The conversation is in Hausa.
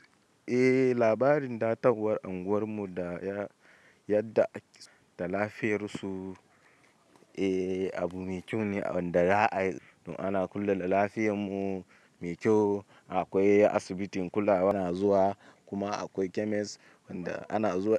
Eh labarin dattawan unguwar mu da yadda da lafiyar su. Eh abu mai kyau ne wanda ana kullum lafiyar mu mai kyau. Akwai asibitin kula ana zuwa kuma akwai chemist wanda ana zuwa.